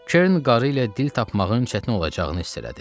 Kern qarı ilə dil tapmağın çətin olacağını hiss elədi.